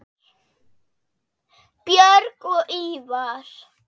Björg og Ívar.